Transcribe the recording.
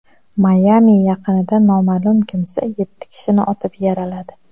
Mayami yaqinida noma’lum kimsa yetti kishini otib yaraladi.